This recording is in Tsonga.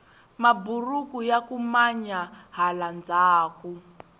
maburuku yaku manya hala ndhaku